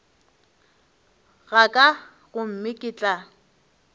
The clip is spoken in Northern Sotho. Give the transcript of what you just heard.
ga ka gomme ke tla